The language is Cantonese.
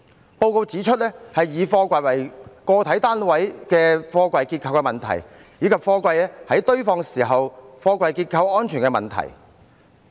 該報告指出以貨櫃為個體單位的貨櫃結構的問題，以及貨櫃在堆放時貨櫃結構安全的問題。